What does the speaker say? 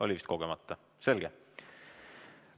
Oli vist kogemata, selge.